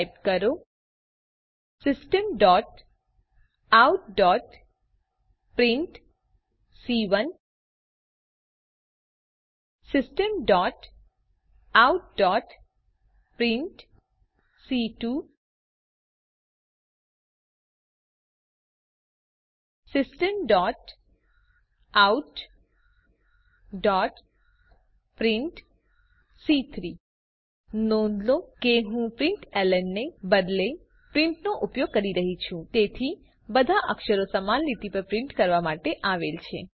type કરો systemoutપ્રિન્ટ systemoutપ્રિન્ટ systemoutપ્રિન્ટ નોંધ લો કે હું પ્રિન્ટલન ને બદલે પ્રિન્ટ નો ઉપયોગ કરી રહ્યી છું તેથી બધા અક્ષરો સમાન લીટી પર પ્રિન્ટ કરવામાં આવેલ છે